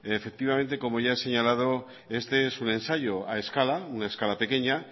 efectivamente como ya se he señalado este es su ensayo a escala una escala pequeña